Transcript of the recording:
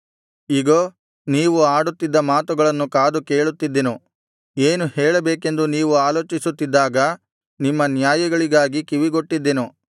ಇಗೋ ನೀವು ಆಡುತ್ತಿದ್ದ ಮಾತುಗಳನ್ನು ಕಾದು ಕೇಳುತ್ತಿದ್ದೆನು ಏನು ಹೇಳಬೇಕೆಂದು ನೀವು ಆಲೋಚಿಸುತ್ತಿದ್ದಾಗ ನಿಮ್ಮ ನ್ಯಾಯಗಳಿಗಾಗಿ ಕಿವಿಗೊಟ್ಟಿದ್ದೆನು